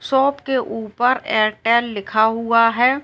Shop के ऊपर Airtel लिखा हुआ है।